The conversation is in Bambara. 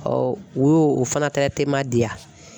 u y'o o fana di yan.